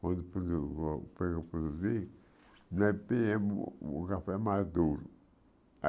quando produ o prod produzir, o café maduro.